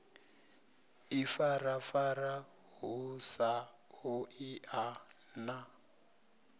ifarafara hu sa ṱoḓei na